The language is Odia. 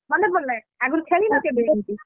ମନେ ପଡିଲା ଆଗରୁ ଖେଳିନ କେବେ ଏମିତି?